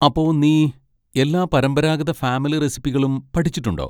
അപ്പൊ നീ എല്ലാ പരമ്പരാഗത ഫാമിലി റെസിപ്പികളും പഠിച്ചിട്ടുണ്ടോ?